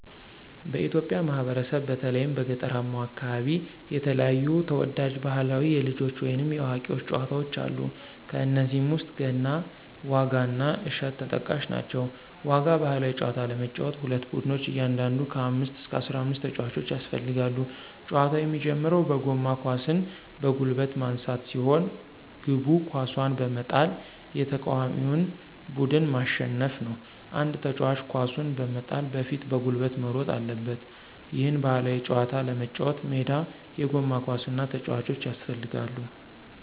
በኢትዮጵያ ማህበረሰብ በተለይም በገጠራማው አከባቢ የተለያዩ ተወዳጅ ባህላዊ የልጆች ወይንም የአዋቂዎች ጨዋታወች አሉ። ከነዚህም ውስጥ ገና፣ ዋጋ እና እሸት ተጠቃሽ ናቸው። ዋጋ ባህላዊ ጨዋታ ለመጫወት ሁለት ቡድኖች እያንዳንዱ ከ አምስት እስከ አስራአምስት ተጫዋቾች ያስፈልጋሉ። ጨዋታው የሚጀምረው በጎማ ኳስን በጉልበት ማንሳት ሲሆን፤ ግቡ ኳሱን በመጣል የተቃዋሚውን ቡድን ማሸነፍ ነው። አንድ ተጫዋች ኳሱን በመጣል በፊት በጉልበት መሮጥ አለበት። ይህን ባህላዊ ጨዋታ ለመጫወት ሜዳ፣ የጎማ ኳስ እና ተጫዋቾች ያስፈልጋሉ።